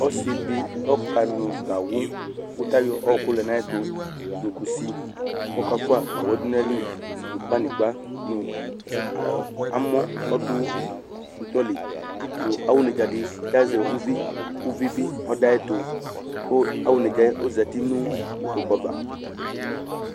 Ɔsɩ dɩ ɔkanʋ gawʋ kʋ ayɔ ɔɣɔkʋ lɛ nʋ ayɛtʋ nʋ kusi kʋ ɔkafʋa gawʋ yɛ dʋ nʋ ayili nʋ banɩgba nʋ ayɔ amɔ ɔdʋ bɩdɔ li nʋ awʋnedzǝ dɩ azɛ uvi kʋ uvi bɩ ɔdʋ ayɛtʋ kʋ awʋnedzǝ ɔzati nʋ ikpoku ava